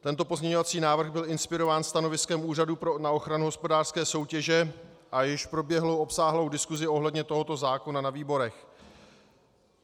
Tento pozměňovací návrh byl inspirován stanoviskem Úřadu na ochranu hospodářské soutěže a již proběhl obsáhlou diskusí ohledně tohoto zákona ve výborech.